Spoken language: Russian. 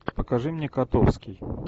покажи мне котовский